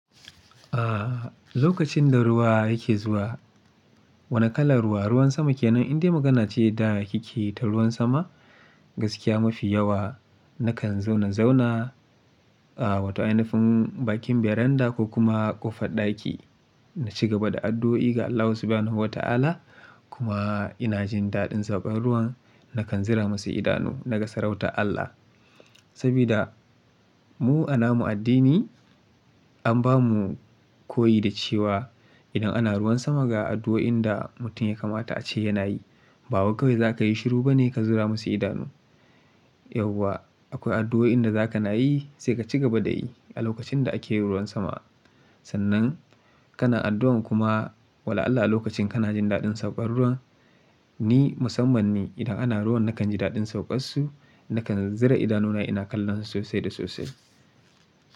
Aaa, lokacin da ruwa yake zuwa, wane kalar ruwa? Ruwan sama kenan in dai magana ce da ki ke yi ta ruwan sama gaskiya mafi yawa nakan zauna zauna a wata ainifin bakin baranda ko kuma ƙofar ɗaki na ci gaba da addu'o'i ga Allah Subhanahu wa Ta'ala kuma ina jin daɗin zuba ruwan nakan zira masa idanu naga sarauta Allah. Saboda mu a namu addini an bamu koyi da cewa idan ana ruwan sama ga addu'oin da mutum ya kamata a ce yana yi. Babu kawai za ka yi shiru bane ka zura masa idanu. Yauwa akwai addu'oin da za ka na yi sai ka ci gaba da yi a lokacin da ake yi ruwan sama. Sannan kana addu'an kuma wala Allah a lokacin kana jin daɗin sauƙar ruwan ni musamman ni idan ana ruwan nakan ji daɗin sauƙar su nakan zira idanuna ina kallon su sosai da sosai.